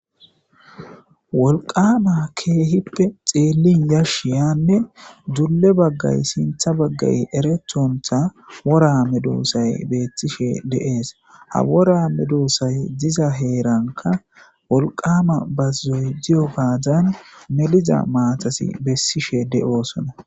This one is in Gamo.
wolqama keehippe xeellin yashiyanne dulle baggay sintha baggay erethontha worame doossay beettishe de7ees ha worame duossay diza heeranka wolqama bazoy ziyo gaadan meliza maatasi bessishe de7oosona